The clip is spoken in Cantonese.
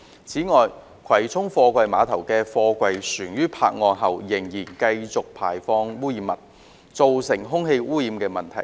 此外，葵涌貨櫃碼頭的貨櫃船於泊岸後仍持續排放污染物，造成空氣污染問題。